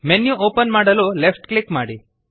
menu open ಮಾಡಲು left click ಮಾಡಿ